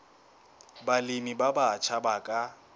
balemi ba batjha ba ka